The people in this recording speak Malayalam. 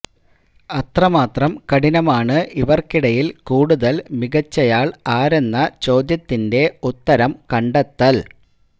അത്രമാത്രം കഠിനമാണ് ഇവർക്കിടയിൽ കൂടുതൽ മികച്ചയാൾ ആരെന്ന ചോദ്യത്തിന്റെ ഉത്തരം കണ്ടെത്തൽ